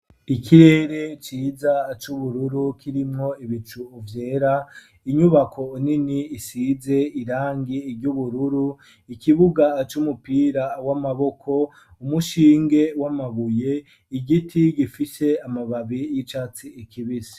Ikirere ciza c'ubururu kirimwo ibicu vyera inyubako nini isize irangi ry'ubururu ikibuga c'umupira w'amaboko umushinge w'amabuye igiti gifise amababi y'icatsi kibisi